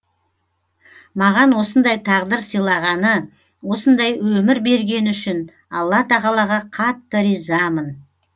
маған осындай тағдыр сыйлағаны осындай өмір бергені үшін алла тағалаға қатты ризамын